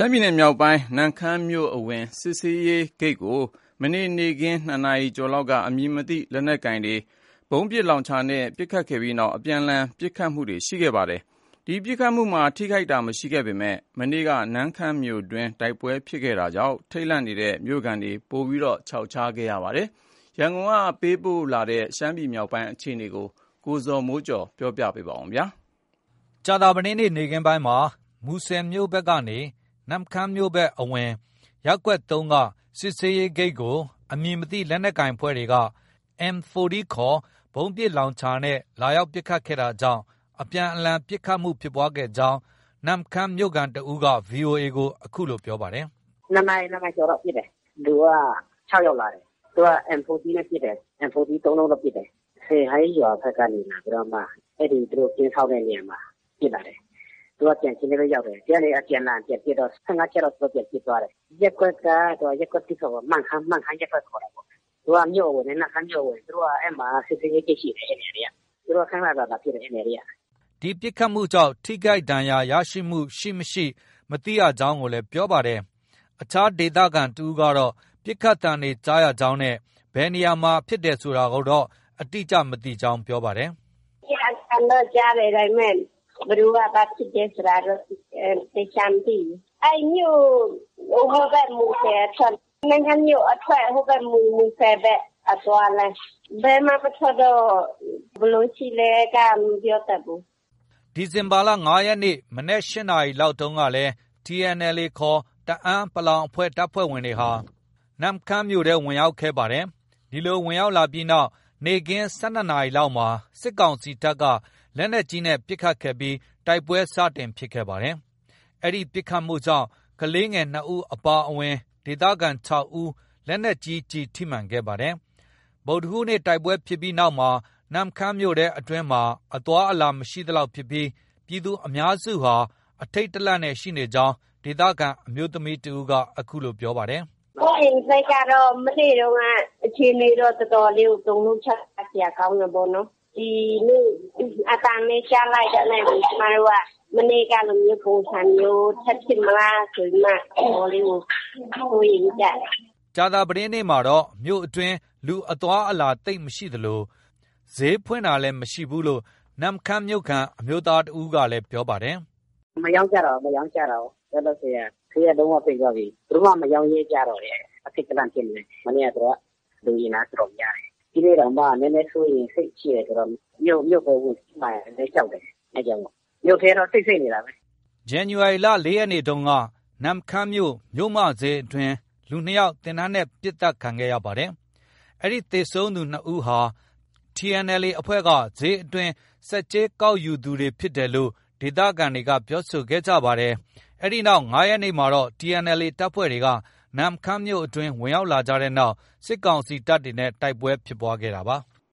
မ်းပြည်နယ်မြောက်ပိုင်း နမ့်ခမ်းမြို့အဝင် စစ်ဆေးရေးဂိတ်ကို ဇန်နဝါရီလ ၆ ရက် ကြာသပတေးနေ့ နေ့ခင်း ၂ နာရီကျော်လောက်က အမည်မသိ လက်နက်ကိုင်တွေက ဗုံးပစ်လောင်ချာနဲ့ ပစ်ခတ်ခဲ့ပြီးနောက် အပြန်အလှန် ပစ်ခတ်မှုတွေဖြစ်ပွားခဲ့ပါတယ်။ ဒီပစ်ခတ်မှုမှာ ထိခိုက်သူမရှိပေမဲ့ မနေ့တုန်းက နမ့်ခမ်းမြို့တွင်းမှာ တိုက်ပွဲဖြစ်ထားတာကြောင့် ထိတ်လန့်နေတဲ့ မြို့ခံတွေ ပိုမို ခြောက်ခြားခဲ့ရပါတယ်။ ရန်ကုန်ကလာတဲ့ ရှမ်းပြည်နယ် မြောက်ပိုင်းက သတင်းကို ကိုဇော်မိုးကျော် က ပြောပြပါမယ်။ မူဆယ်မြို့ဘက်နေ နမ့်ခမ်းမြို့အဝင် ရပ်ကွက် ၃ က စစ်ဆေးရေးဂိတ်ကို အမည်မသိ လက်နက်ကိုင်တွေက M 40 ခေါ် ဗုံးပစ်လောင်ချာနဲ့ ဇန်နဝါရီလ ၆ ရက် ကြာသပတေးနေ့က လာရောက်ပစ်ခတ်တာကြောင့် အပြန်အလှန် ပစ်ခတ်မှု ဖြစ်ပွားခဲ့ကြောင်း နမ့်ခမ်းမြို့ခံတစ်ဦးက VOA ကို အခုလို ပြောပါတယ်။ “၂ နာရီ၊ ၂နာရီကျော်လောက် ပစ်တယ်။ လူက ၆ယောက်လာတယ်။ သူက M 40 နဲ့ ပစ်တယ်။ M 40 သုံးလုံးတော့ ပစ်တယ်။ စယ်ဟိုင်းရွာဘက်ကနေ လာပြီးတော့ပစ်တယ်။ အဲဒီ သူတို့ ကင်းစောင့်တဲ့နေရာမှာ ပစ်လာတယ်။ သူက ကြံခင်းထဲပဲ ရောက်တယ်။ ဒီကနေ အပြန်အလှန်ပြန်ပစ်တော့ ၁၅ချက်လောက် ပြန်ပစ်သွားတယ်။ ရပ်ကွက်က ရပ်ကွက် ၁ပေါ့။ မန့်ခမ်း ရပ်ကွက်ခေါ်တာပေါ့။ သူက မြို့အဝင် နမ့်ခမ်းမြို့အဝင် အဲဒီမှာ စစ်ဆေးရေးဂိတ်ရှိတယ်။ သူတို့ ခန ခန လာပစ်တယ် အဲဒီနေရာတွေက။” ဒီပစ်ခတ်မှုကြောင့် ထိခိုက်ဒဏ်ရာရတာ မကြားသိရဘူးလို့လည်း ပြောပါတယ်။ အခြားဒေသခံတစ်ဦးကလည်း ပစ်ခတ်သံတွေကြားရကြောင်း ခုလိုပြောပါတယ်။ “နေ့ခင်းက အသံတော့ ကြားတယ်။ ဒါပေမဲ့ ဘယ်သူက ဘာဖြစ်တယ်ဆိုတာတော့ သေချာမသိဘူး။ အဲဒီမြို့ အဝင်ဘက် မူဆယ်အထွက်၊ နမ့်ခမ်းမြို့အထွက် ဟိုး မူဆယ်ဘက် အသွားလမ်း၊ ဘယ်မှ မထွက်တော့ ဘယ်လိုရှိလဲက မပြောတတ်ဘူး။” ဇန်နဝါရီလ ၅ ရက် ဗုဒ္ဓဟူးနေ့ မနက် ၈နာရီလောက်က TNLA ခေါ် တအန်း တပ်ဖွဲ့ဝင်တွေဟာ နမ့်ခမ်းမြို့ထဲ အင်အားပြ ဝင်ရောက်ခဲ့ကြပါတယ်။ ဒီလို ဝင်ရောက်လာပြီးနောက် နေ့ခင်း ၁၂ နာရီလောက်မှာ စစ်ကောင်စီတပ်က လက်နက်ကြီးနဲ့ပစ်ခတ်ခဲ့ပြီး တိုက်ပွဲ စတင်ဖြစ်ခဲ့ပါတယ်။ ဒီပစ်ခတ်မှုကြောင့် ကလေးငယ် ၂ ဦးအပါအဝင် ဒေသခံ ၆ ဦး လက်နက်ကြီးကျည်ထိမှန်ခဲ့ပါတယ်။ ဗုဒ္ဓဟူးနေ့ တိုက်ပွဲဖြစ်ပြီးနောက်မှာ နမ့်ခမ်းမြို့အတွင်းမှာ အသွားအလာ မရှိသလောက်ဖြစ်ပြီး ပြည်သူအများစုဟာ အထိတ်တလန့်နဲ့ ရှိနေကြောင်း ဒေသခံအမျိုးသမီးက အခုလို ဆက်ပြောပါတယ်။ “ စိုးရိမ်စိတ်က မနေ့တုံးက အခြေအနေတော့ တော်တော်လေးကို တုန်လှုပ်ခြောက်ခြားစရာ ကောင်းတယ်ပေါ့နော်။ ဒီနေ့ အသံပဲ ကြားလိုက်တာနဲ့ကို ကျမတို့က မနေ့ကလိုမျိုး ပုံစံမျိုး ထပ်ဖြစ်မလားဆိုပြီးမှ တော်တော်လေးကို စိုးရိမ်နေကြတယ်။ ” ကြာသပတေးနေ့မှာတော့ မြို့အတွင်း လူအသွား အလာ သိပ်မရှိသလို ဈေးဖွင့်တာလည်း မရှိဘူးလို့ နမ့်ခမ်းမြို့ခံ အမျိုးသားကလည်း ပြောပါတယ်။ “မရောင်းကြတော့ဘူး၊ မရောင်းကြတော့ဘူး။ ဈေးက လုံး၀ ပိတ်သွားပြီ။ ဘယ်သူမှ မရောင်းရဲကြဘူး။ အထိတ်တလန့်ဖြစ်နေပြီ။ မနေ့ သူတို့က လူအင်အား တော်တော်များတယ်။ ဒီနေ့တောင်မှ နည်းနည်းစိုးရိမ်စိတ်ရှိတယ်ဆိုတော့ မြို့ကို ဝင်စီးမှာလည်း ကြောက်တယ်။ အဲဒါကြောင့်မို့ ။ မြို့ထဲတော့ တိတ်ဆိတ်နေတာပဲ။” နမ့်ခမ်းမြို့ မြို့မဈေးအတွင်းမှာ ဇန်နဝါရီလ ၄ ရက်နေ့ကလည်း လူ ၂ယောက် သေနတ်နဲ့ ပစ်ခတ်သတ်ဖြတ်ခံခဲ့ရပါတယ်။ ဒီသေဆုံးသူ ၂ ယောက်ဟာ TNLA အဖွဲ့က ဈေးအတွင်း ဆက်ကြေး ကောက်ယူသူတွေဖြစ်ကြောင်း ဒေသခံတွေက ပြောဆိုကြပါတယ်။ ဒီအဖြစ်အပျက်ဖြစ်ပြီး ၅ ရက်နေ့မှာ TNLA တပ်ဖွဲ့တွေက နမ့်ခမ်းမြို့တွင်း ဝင်ရောက် လာကြတဲ့နောက် စစ်ကောင်စီတပ်နဲ့ တိုက်ပွဲဖြစ်ပွားခဲ့တာပါ။